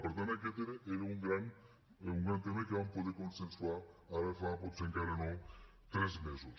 per tant aquest era un gran tema que vam poder consensuar ara fa potser encara no tres mesos